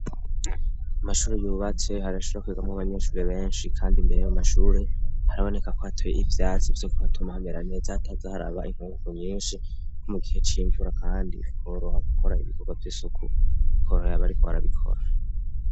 Amashuri yubatse harashira kwigamwoabanyeshuri benshi, kandi imbere y'amashuri haraboneka kwateye ivyatsi vyo ku hatuma hamera neza hatazi hariaba inkuku nyinshi nko mu gihe c'imvura, kandi koroha gukora ibikorwa vy'isuku korohaaba ari ko barabikora.